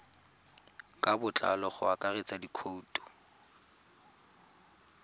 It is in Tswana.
ka botlalo go akaretsa dikhoutu